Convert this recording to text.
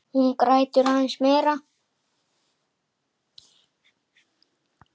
Hún grætur aðeins meira.